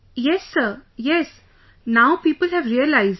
Yes Sir, Yes...Now people have realized